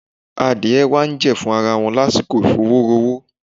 Adìẹ wá ń jẹ̀fun ara wọn lásìkò ìfowórowó.